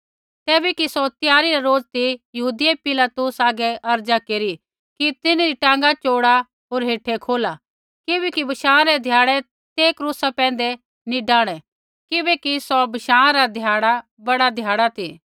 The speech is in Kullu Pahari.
तैबै कि सौ त्यारी रा रोज ती यहूदियै पिलातुस आगै अर्ज़ा केरी कि तिन्हरी टाँगा चोड़ा होर हेठै खोला किबैकि बशाँ रै ध्याड़ै ते क्रूसा पैंधै नी डाहणै किबैकि सौ बशाँ रा ध्याड़ा बड़ा ध्याड़ा ती